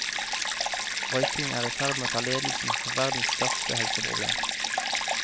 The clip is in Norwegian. Røyking er i ferd med å ta ledelsen som verdens største helseproblem.